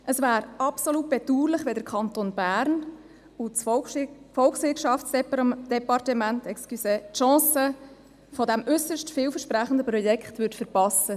Es wäre absolut bedauerlich, wenn der Kanton Bern und die VOL die Chance dieses äusserst vielversprechenden Projekts verpassten.